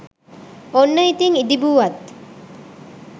ඔන්න ඉතිං ඉදිබුවත්